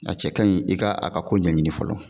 A cɛ ka ɲi i ka a ka ko ɲɛɲini fɔlɔ.